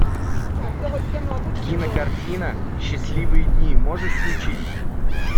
кинокартина счастливые дни можешь включить